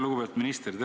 Lugupeetud minister!